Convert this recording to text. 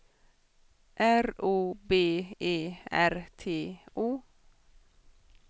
R O B E R T O